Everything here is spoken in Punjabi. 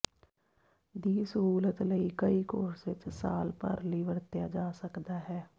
ਦੀ ਸਹੂਲਤ ਲਈ ਕਈ ਕੋਰਸ ਵਿਚ ਸਾਲ ਭਰ ਲਈ ਵਰਤਿਆ ਜਾ ਸਕਦਾ ਹੈ